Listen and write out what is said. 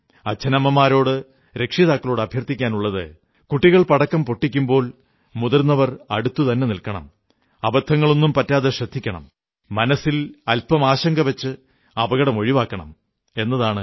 അച്ഛനമ്മമാരോട് രക്ഷിതാക്കളോട് അഭ്യർഥിക്കാനുള്ളത് കുട്ടികൾ പടക്കം പൊട്ടിക്കുമ്പോൾ മുതിർന്നവർ അടുത്തു തന്നെ നിൽക്കണം അബദ്ധങ്ങളൊന്നും പറ്റാതെ ശ്രദ്ധിക്കണം മനസ്സിൽ അല്പം ആശങ്കവച്ച് അപകടം ഒഴിവാക്കണം എന്നാണ്